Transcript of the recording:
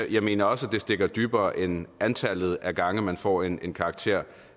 jeg mener også at det stikker dybere end antallet af gange man får en karakter